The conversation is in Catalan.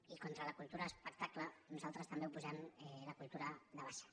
i contra la cultura espectacle nosaltres hi també oposem la cultura de base